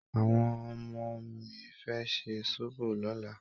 Àwọn ọmọ mi fẹ́ ṣe sóbò lọ́la